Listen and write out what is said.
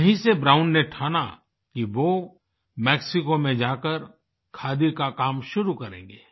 यहीं से ब्राउन ने ठाना कि वो मेक्सिको में जाकर खादी का काम शुरू करेंगे